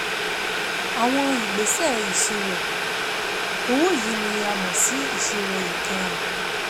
Àwọn ìgbésẹ̀ ìṣirò owó yìí ni a mọ̀ sí ìṣirò ìkẹyìn.